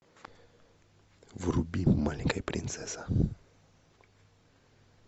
вруби маленькая принцесса